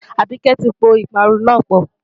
Àbíkẹ́ ti po ìparun náà pọ̀.